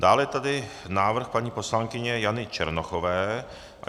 Dále je tady návrh paní poslankyně Jany Černochové.